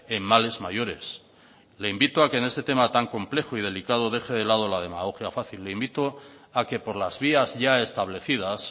en males mayores le invito a que en este tema tan complejo y delicado deje de lado la demagogia fácil le invito a que por las vías ya establecidas